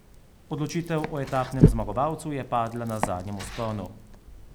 Odločitev o etapnem zmagovalcu je padla na zadnjem vzponu.